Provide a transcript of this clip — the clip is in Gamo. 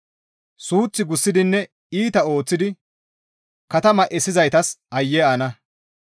«Suuth gussidinne iita ooththidi katama essizaytas aayye ana!